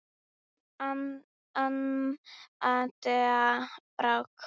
Þín Amanda Brák.